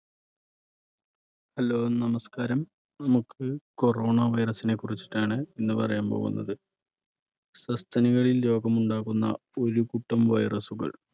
hello, നമസ്കാരം. നമുക്ക് corona virus നെ കുറിച്ചിട്ടാണ് ഇന്ന് പറയാൻ പോകുന്നത്. സസ്തനികളിൽ രോഗമുണ്ടാകുന്ന ഒരുകൂട്ടം virus കൾ